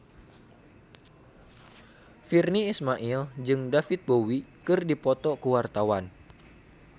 Virnie Ismail jeung David Bowie keur dipoto ku wartawan